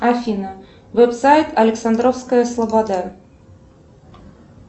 афина веб сайт александровская слобода